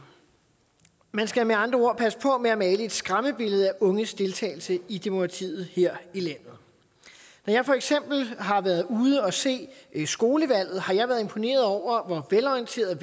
man skal med andre ord passe på med at male et skræmmebillede af unges deltagelse i demokratiet her i landet når jeg for eksempel har været ude at se skolevalget har jeg været imponeret over hvor velorienterede